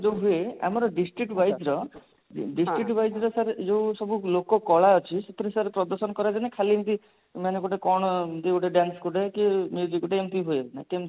ଯଉ ହୁଏ ଆମର district wise ର district wise ର sir ଯଉ ସବୁ ଲୋକ କଳା ଅଛି ସେଥିରେ sir ପ୍ରଦର୍ଶନ କରାଯାଏ ନା ଖାଲି ଏମତି ମାନେ ଗୋଟେ କଣ ଯଉ ଗୋଟେ dance ଗୋଟେ କି ଗୋଟେ ଏମତି ହୁଏ ନା କେମିତି sir